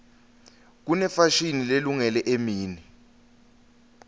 kunefashini lelungele emini